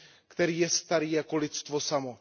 který je starý jako lidstvo samo.